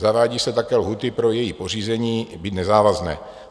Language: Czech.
Zavádí se také lhůty pro její pořízení, byť nezávazné.